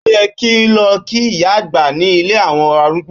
Ó yẹ kí n lọ kí ìyá àgbà ní ilé àwọn arúgbó.